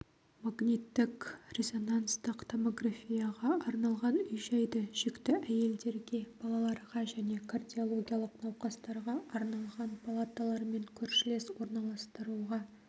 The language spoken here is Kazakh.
магниттік-резонанстық томографияға арналған үй-жайды жүкті әйелдерге балаларға және кардиологиялық науқастарға арналған палаталармен көршілес орналастыруға